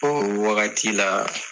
o wagati la